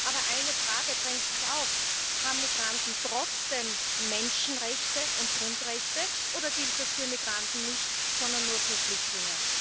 Aber eine Frage drängt sich auf Haben Migranten trotzdem Menschenrechte und Grundrechte, oder gilt das für Migranten nicht, sondern nur für Flüchtlinge?